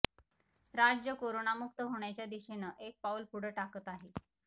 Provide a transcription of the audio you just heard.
राज्य करोनामुक्त होण्याच्या दिशेनं एक एक पाऊल पुढं टाकत आहे